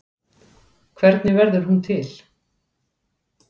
Hvernig verður hún til?